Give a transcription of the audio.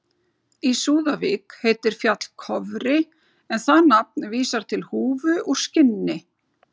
Í Súðavík heitir fjall Kofri en það nafn vísar til húfu úr skinni.